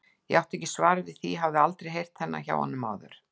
Ég átti ekki svar við því, hafði aldrei heyrt þennan hjá honum áður.